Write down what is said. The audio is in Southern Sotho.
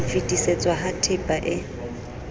ho fetisetswa ha tehpa e